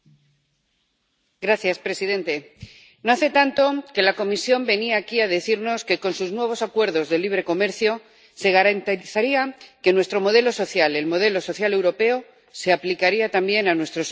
Señor presidente, no hace tanto que la Comisión venía aquí a decirnos que con sus nuevos acuerdos de libre comercio se garantizaría que nuestro modelo social, el modelo social europeo, se aplicaría también a nuestros socios comerciales.